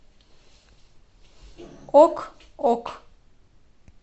ок ок